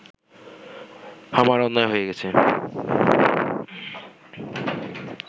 আমার অন্যায় হয়ে গেছে